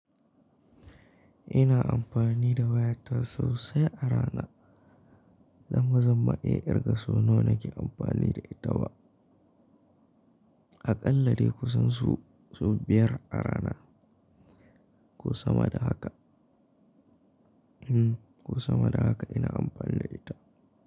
Ina amfani da wayata sosai a rana don bazan ma'iya kirga su nawa nake amfani da ita wa. Aƙalla dai ku san su, su biyar a rana ko sama da haka. Hm, ko sama da haka ina amfani da ita.